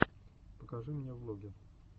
покажи мне влоги